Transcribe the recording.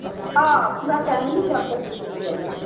হ, পুরা family জগদলপুর চলে যাবো.